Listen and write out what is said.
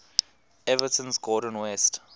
everton's gordon west